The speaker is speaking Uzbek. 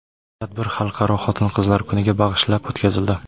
Tadbir Xalqaro Xotin-qizlar kuniga bag‘ishlab o‘tkazildi.